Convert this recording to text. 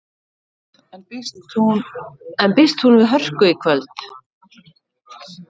En býst hún við hörku í kvöld?